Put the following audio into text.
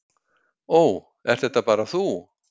"""Ó, ert þetta bara þú?"""